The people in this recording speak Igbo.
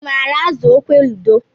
I maara azụ okwe ludo?